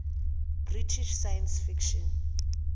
british science fiction